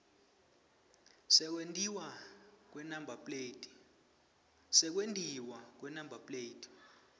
sekwentiwa kwenumber plate